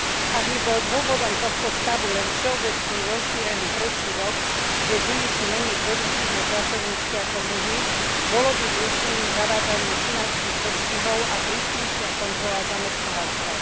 Ak by bol dôvodom tohto stavu len všeobecne rozšírený predsudok, že ženy sú menej produktívne pracovníčky ako muži, bolo by riešením zavádzanie finančných postihov a prísnejšia kontrola zamestnávateľov.